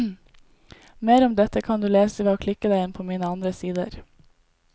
Mer om dette kan du lese ved å klikke deg inn på mine andre sider.